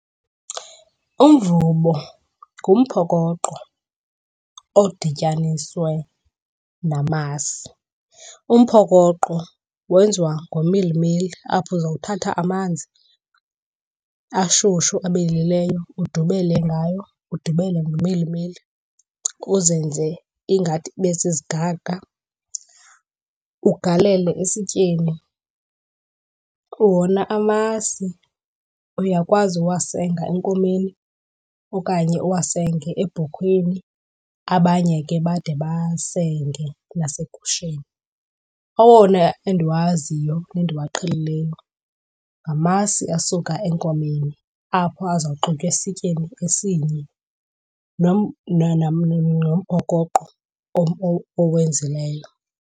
Umvubo ngumphokoqo odityaniswe namasi. Umphokoqo wenziwa ngomilimili apho uzowuthatha amanzi ashushu abilileyo udubele ngayo, udubele nomilimili uzenze ingathi ibe zizigaqa, ugalele esityeni. Wona amasi uyakwazi uwasenga enkomeni okanye uwasenge ebhokhweni, abanye ke bade basenge nasegusheni. Owona endiwaziyo nendiwaqhelileyo ngamasi asuka enkomeni apho azawuxutywa esityeni esinye nomphokoqo owenzileyo.